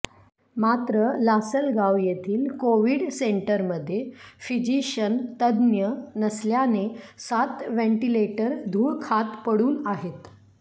मात्र लासलगाव येथील कोविड सेंटरमध्ये फिजिशन तज्ज्ञ नसल्याने सात व्हेंटिलेटर धूळ खात पडून आहेत